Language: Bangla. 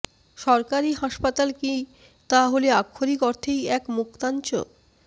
সরকারি হাসপাতাল কি তা হলে আক্ষরিক অর্থেই এক মুক্তাঞ্চ